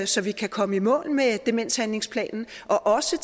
så vi kan komme i mål med demenshandlingsplanen og også